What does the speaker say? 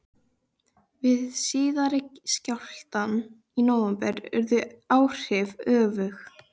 Við síðari skjálftana í nóvember urðu áhrifin öfug.